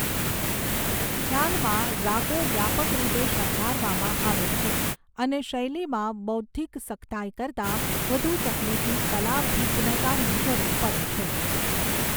ખ્યાલમાં, રાગો વ્યાપક રીતે શણગારવામાં આવે છે, અને શૈલીમાં બૌદ્ધિક સખતાઈ કરતાં વધુ તકનીકી કલાભિજ્ઞતાની જરૂર પડે છે.